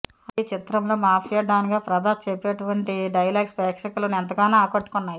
అయితే ఈ చిత్రంలో మాఫియా డాన్ గా ప్రభాస్ చెప్పేటువంటి డైలాగ్స్ ప్రేక్షకులను ఎంతగానో ఆకట్టుకున్నాయి